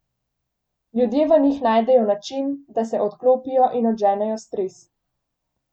Ljudje v njih najdejo način, da se odklopijo in odženejo stres.